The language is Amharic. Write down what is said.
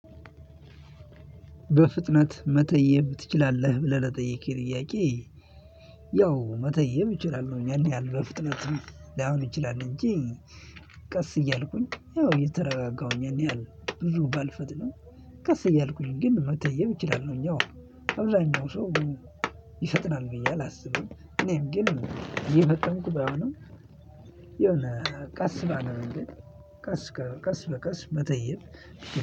በፍጥነት መጠየቅ ትችላለህ ብለህ ለጠየቅክኝ ጥያቄ ያው መተየብ እችላለሁኝ። ያን ያህል በፍጥነት ላይሆን ይችላል እንጂ ቀስ እያልኩኝ ያው እየተረጋጋሁኝ ያን ያህል ብዙ ባልፈጥንም ቀስ እያልኩኝ ግን መተየብ እችላለሁኝ። ያው አብዛኛው ሰው ይፈጥናል ብዬ አላስብም እኔም ግን እየፈጠንኩ ባይሆንም የሆነ ቀስ ባለ መንገድ በቀስ በቀስ መጠየቅ